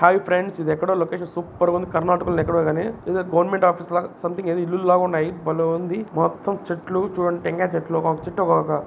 Hi friends ఇది ఎక్కడో location super ఉంది. కర్ణాటక లో ఎక్కడో గాని ఏదో గవర్నమెంట్ ఆఫీస్ లాగా సంథింగ్ ఏదో ఇల్లు ఉన్నాయి భలే ఉంది. మొత్తం చెట్లు చూడండి టెంకాయ చెట్లు ఒక్కొక్క చెట్టు ఒక్కొక్క --